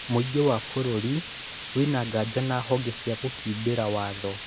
Mũingĩ wa bũrũri wĩna nganja na honge cia gũkindĩra watho